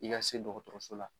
I ka se dɔgɔtɔrɔso la